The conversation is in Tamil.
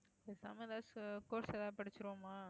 பேசாம ஏதாச்சு course ஏதாவது படிச்சிருவோமா